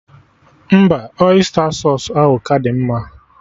Mba, ọysta sausụ ahụ ka dị mma